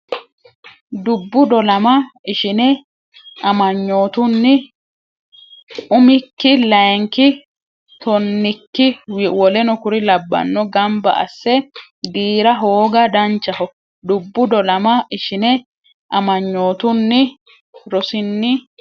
Dubbu dolama Ishine amanyootunni Rsn Umikki layinki tonnikki w k l gamba asse giira hooga Danchaho Dubbu dolama Ishine amanyootunni Rsn.